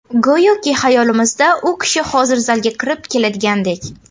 Go‘yoki xayolimizda u kishi hozir zalga kirib keladigandek.